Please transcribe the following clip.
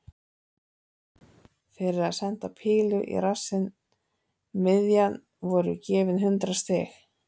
Fyrir að senda pílu í rassinn miðjan voru gefin hundrað stig.